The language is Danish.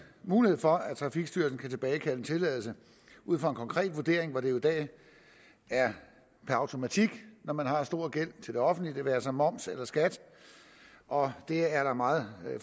mulighed for at trafikstyrelsen kan tilbagekalde en tilladelse ud fra en konkret vurdering hvor det jo i dag er per automatik når man har stor gæld til det offentlige det være sig moms eller skat og der er meget